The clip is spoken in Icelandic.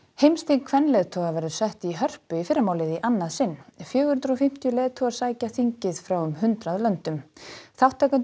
heimsþing kvenleiðtoga verður sett í Hörpu í fyrramálið í annað sinn fjögur hundruð og fimmtíu leiðtogar sækja þingið frá um hundrað löndum þátttakendur